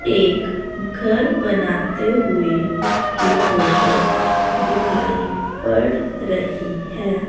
एक घर बनाते हुए की फोटो दिखाई पड़ रही है।